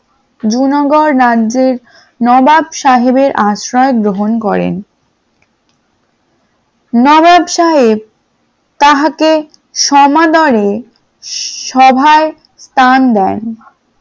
জুনাগড় রাজ্যে নবাব সাহেবের আশ্রয় গ্রহণ করেন । নবাব সাহেব তাহাকে সমাদরে সভায় স্থান দেন ।